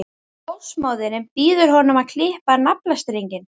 Ljósmóðirin býður honum að klippa á naflastrenginn.